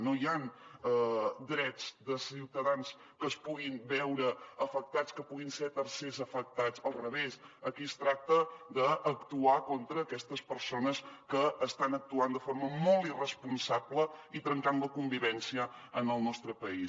no hi han drets de ciutadans que es puguin veure afectats que puguin ser tercers afectats al revés aquí es tracta d’actuar contra aquestes persones que estan actuant de forma molt irresponsable i trencant la convivència en el nostre país